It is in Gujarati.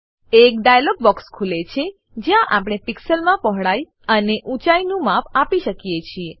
એક ડાયલોગ બોક્સ ખુલે છે જ્યાં આપણે પિક્સેલ્સ પીક્સલો માં પહોળાઈ અને ઊંચાઈનું માપ આપી શકીએ છીએ